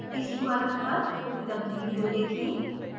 इस url पर उपलब्ध वीडियो देखें: